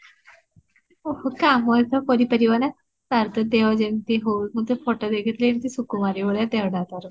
ଓହୋ କାମ ତ କରି ପାରିବ ନା, ତାର ତ ଦେହ ଯେମିତି ହୋଉ ମୁଁ ତ photo ଦେଖିଥିଲି ଏତେ ସୁକୁମାରୀ ଭଳିଆ ଦେହଟା ତାର